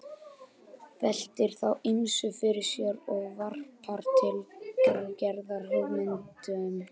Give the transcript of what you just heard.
Veltir þá ýmsu fyrir sér og varpar til Gerðar hugmyndum.